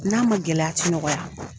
N'a ma gɛlɛya, a ti nɔgɔya.